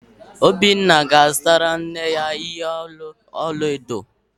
Obinna ga-azụtara nne ya ihe olu ọla edo